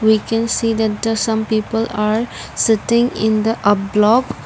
we can see that the some people are sitting in the up block.